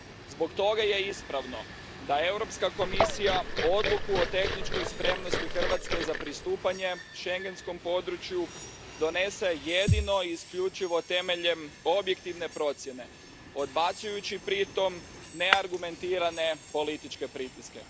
Zbog toga je ispravno da Europska komisija odluku o tehničkoj spremnosti Hrvatske za pristupanje schengenskom području donese jedino i isključivo temeljem objektivne procjene, odbacujući pritom neargumentirane političke pritiske.